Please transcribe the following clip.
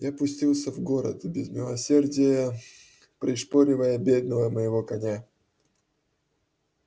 я пустился в город без милосердия пришпоривая бедного моего коня